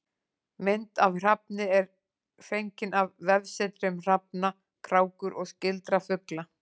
Mynd af hrafni er fengin af vefsetri um hrafna, krákur og skyldra fugla.